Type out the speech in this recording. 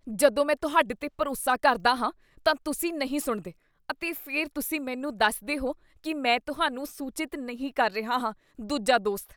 ਜਦੋਂ ਮੈਂ ਤੁਹਾਡੇ 'ਤੇ ਭਰੋਸਾ ਕਰਦਾ ਹਾਂ ਤਾਂ ਤੁਸੀਂ ਨਹੀਂ ਸੁਣਦੇ ਅਤੇ ਫਿਰ ਤੁਸੀਂ ਮੈਨੂੰ ਦੱਸਦੇ ਹੋ ਕੀ ਮੈਂ ਤੁਹਾਨੂੰ ਸੂਚਿਤ ਨਹੀਂ ਕਰ ਰਿਹਾ ਹਾਂ ਦੂਜਾ ਦੋਸਤ